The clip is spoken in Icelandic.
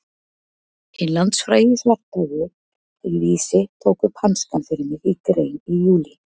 Hinn landsfrægi Svarthöfði í Vísi tók upp hanskann fyrir mig í grein í júlí.